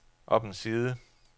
op en side